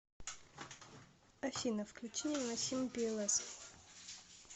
афина включи невыносимый пиэлэс